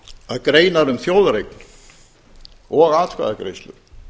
að greinar um þjóðareign og atkvæðagreiðslur